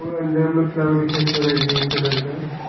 अंदर में फ्लावर दिखाई पड़ रहा है ग्रीन कलर का।